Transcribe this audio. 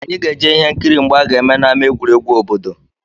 Anyị ga-eje ihe nkiri mgba a ga-eme n'ámá egwuregwu obodo